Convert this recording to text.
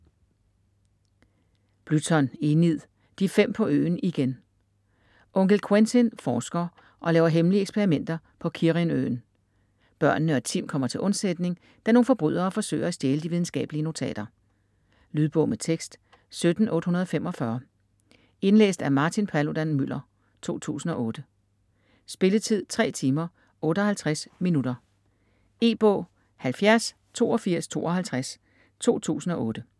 Blyton, Enid: De fem på øen igen Onkel Quentin forsker og laver hemmelige eksperimenter på Kirrin-øen. Børnene og Tim kommer til undsætning, da nogle forbrydere forsøger at stjæle de videnskabelige notater. Lydbog med tekst 17845 Indlæst af Martin Paludan-Müller, 2008. Spilletid: 3 timer, 58 minutter. E-bog 708252 2008.